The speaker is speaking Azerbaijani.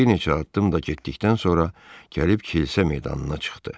Bir neçə addım da getdikdən sonra gəlib kilsə meydanına çıxdı.